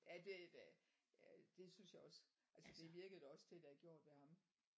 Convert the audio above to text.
Ja det det synes jeg også. Altså det virkede det også til at det har gjort ved ham